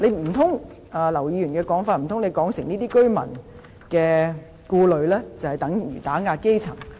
按照劉議員的說法，難道她是指這些居民的顧慮就等於打壓基層？